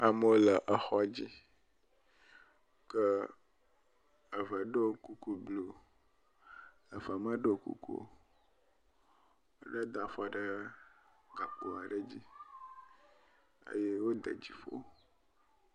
Amewo le exɔ dzi, ke eve ɖo kuku blɔ eve meɖo kuku o. Ɖe da afɔ ɖe gakpo aɖe dzi eye wode dziƒo.